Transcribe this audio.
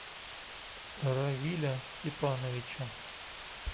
равиля степановича